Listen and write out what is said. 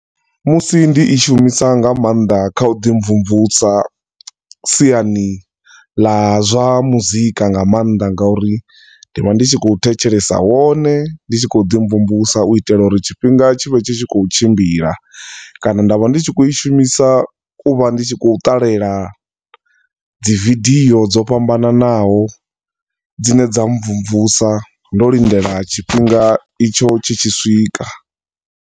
Musi ndi i shumisa nga maanḓa kha u ḓi mvumvusa siani ḽa zwa muzika nga maanḓa nga uri ndi vha ndi tshi khou thetshelesa wone ndi tshi kho ḓi mvumvusa u itela uri tshifhinga tshi vhe tshi khou tshimbila, kana nda vha ndi tshi khou i shumisa u vha ndi khou ṱalela dzi video dzo fhambananaho dzine dza mvumvusa ndo lindela tshifhinga itsho tshi tshi swika.